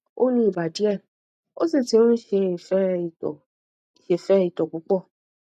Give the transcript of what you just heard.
ó ní ibà díẹ ó sì ti ń sẹfẹ itọ sẹfẹ itọ púpọ